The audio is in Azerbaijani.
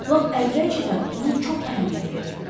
Lap əvvəlcədən ona çox əhəmiyyət verirdim.